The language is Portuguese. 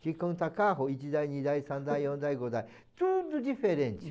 que conta carro, tudo diferente.